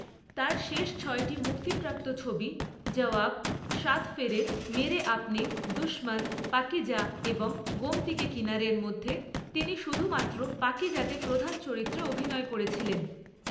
তাঁর শেষ ছয়টি মুক্তিপ্রাপ্ত ছবি ‘জাওয়াব’, ‘সাত ফেরে’, ‘মেরে আপনে’, ‘দুশমন’, ‘পাকিজা’ এবং ‘গোমতী কে কিনারে’র মধ্যে তিনি শুধুমাত্র ‘পাকিজা’তে প্রধান চরিত্রে অভিনয় করেছিলেন।